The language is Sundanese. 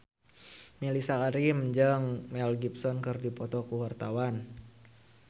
Mellisa Karim jeung Mel Gibson keur dipoto ku wartawan